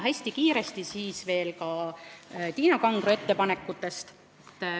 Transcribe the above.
Hästi kiiresti ka Tiina Kangro ettepanekutest.